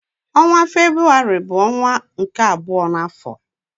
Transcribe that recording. Ọnwa Febrụwarị bụ ọnwa nke abụọ n'afọ.